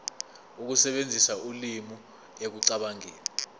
ukusebenzisa ulimi ekucabangeni